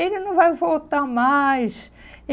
Ele não vai voltar mais.